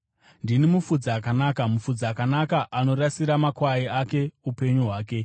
“Ndini mufudzi akanaka. Mufudzi akanaka anorasira makwai ake upenyu hwake.